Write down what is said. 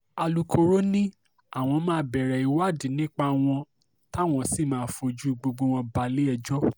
alūkkóró ni àwọn máa bẹ̀rẹ̀ ìwádìí nípa wọn táwọn sì máa fojú gbogbo wọn balẹ̀-ẹjọ́